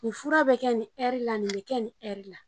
Nin fura bɛ kɛ nin ɛri la nin bɛ kɛ ni ɛri la.